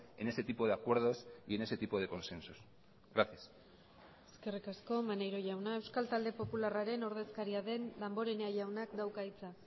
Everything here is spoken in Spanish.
en ese tipo de acuerdos y en ese tipo de consensos gracias eskerrik asko maneiro jauna euskal talde popularraren ordezkaria den damborenea jaunak dauka hitza